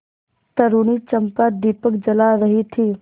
तरूणी चंपा दीपक जला रही थी